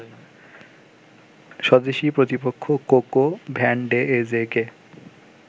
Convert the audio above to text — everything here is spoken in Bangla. স্বদেশী প্রতিপক্ষ কোকো ভ্যানডেয়েজেকে